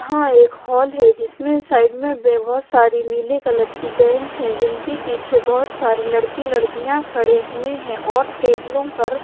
यहां एक हॉल है जिसमें साइड में बहुत सारी नीले कलर की बेंच है जिनके पीछे बहुत सारे लड़की लड़कियां खड़े हुए हैं और टेबलों पर--